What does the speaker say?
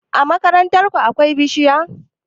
A makarantar ku akwai bishiya?